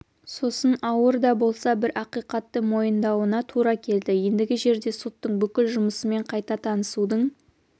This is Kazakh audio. сосын ауыр да болса бір ақиқатты мойындауына тура келді ендігі жерде соттың бүкіл жұмысымен қайта танысудың